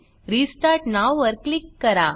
restart now वर click करा